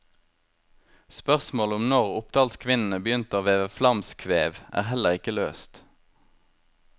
Spørsmålet om når oppdalskvinnene begynte å veve flamskvev, er heller ikke løst.